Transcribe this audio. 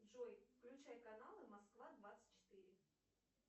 джой включай каналы москва двадцать четыре